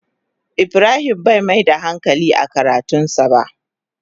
Ibrahim Bai Mai da hankali a karatun sa ba.